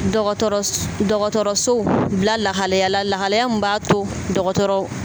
Dɔgɔtɔrɔs dɔgɔtɔrɔsow bila lahalaya lahalaya min b'a to dɔgɔtɔrɔw